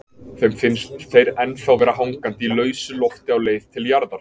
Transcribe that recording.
Þeim finnst þeir ennþá vera hangandi í lausu lofti á leið til jarðar.